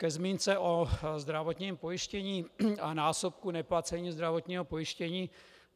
Ke zmínce o zdravotním pojištění a násobku neplacení zdravotního pojištění.